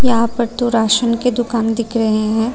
यहां पर तो राशन के दुकान दिख रहे है।